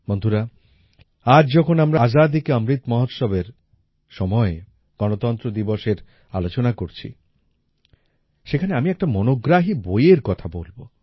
বন্ধুরা আজ যখন আমরা আজাদী কে অমৃত মহোৎসবের সময়ে গণতন্ত্র দিবসের আলোচনা করছি সেখানে আমি একটা মনোগ্রাহী বইয়ের কথা বলব